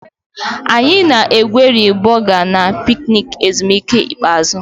Anyị na-egweri boga na picnic ezumike ikpeazụ.